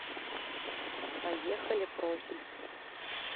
поехали профиль